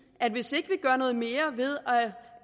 at hvis ikke vi gør noget mere ved